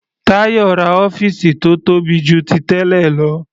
Tayo ra ọ́fìsì tó tóbi jù ti tẹ́lẹ̀ lọ.